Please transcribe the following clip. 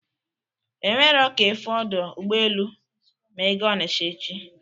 E nwero ka ịfụ ọdọ ụgbọelu ma ị ga onisha echi